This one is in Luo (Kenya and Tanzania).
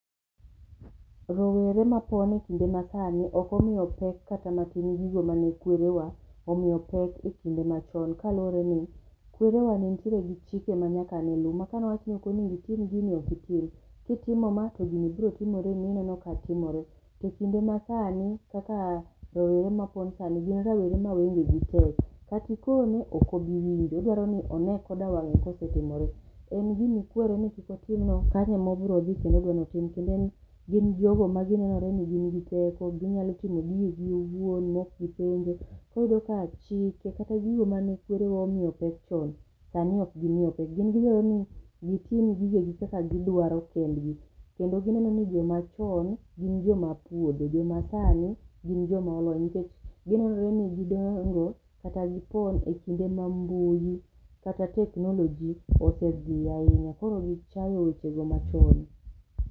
Rowere mapon e kinde masani ok omiyo pek kata matin gigo mane kwerewa omiyo pek ekinde machon kaluore ni kwerewa ne nitiere gi chike manyaka ne luu maka okoni onego itim gini ok itim, kitimo ma to gini biro timore ni ineno ka timore. To ekinde masani kaka rawere mapon sani gin rowere ma wenge gi tek kata ikone ok obi winjo, odwaro ni one koda wange kose timore. En gima ikwere ni kik otim nokanyo emo obro dhi kendo odwa ni otim kendo en, gin jogo maginenore ni gin gi teko, ginyalo timo gige gi owuon maok gipenjo .koro iyudo ka chike kata gigo mane kwerewa omiyo pek chon sani ok gimiyo pek, gin gidwaroni gitim gige gi kaka gidwaro kendgi kendo gidwaro nijoma chon gin joma apuodho, joma sani gin joma olony nikech ginenore ni gidongo kata gipon ekinde ma mbui kata teknoloji osedhi ahinya, koro gichayo wechego machon